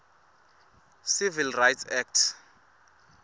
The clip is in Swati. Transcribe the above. civil rights act